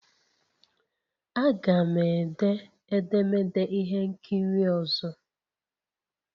Aga m ede edemede ihe nkiri ọzọ